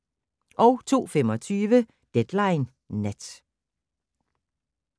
02:25: Deadline Nat